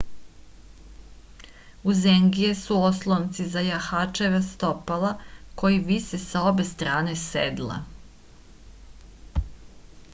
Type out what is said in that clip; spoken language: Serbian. uzengije su oslonci za jahačeva stopala koji vise sa obe strane sedla